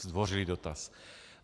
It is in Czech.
Zdvořilý dotaz.